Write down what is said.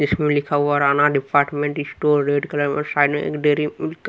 इसमें लिखा हुआ Rana department store red colour में साइड में एक डेरी मिल--